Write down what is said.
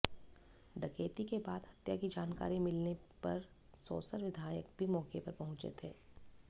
डकैती के बाद हत्या की जानकारी मिलने पर सौंसर विधायक भी मौके पर पहुंचे थे